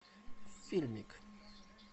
фильмик